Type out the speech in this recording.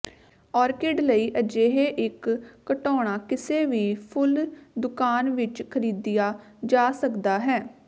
orchid ਲਈ ਅਜਿਹੇ ਇੱਕ ਘਟਾਓਣਾ ਕਿਸੇ ਵੀ ਫੁੱਲ ਦੁਕਾਨ ਵਿੱਚ ਖਰੀਦਿਆ ਜਾ ਸਕਦਾ ਹੈ